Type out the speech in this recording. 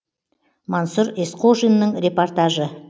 мансұр есқожиннің репортажы